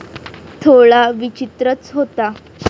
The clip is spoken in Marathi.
थोडा विचित्रच होता.